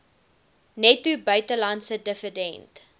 netto buitelandse dividend